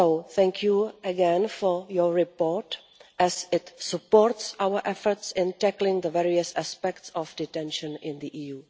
Thank you again for your report as it supports our efforts in tackling the various aspects of detention in the EU.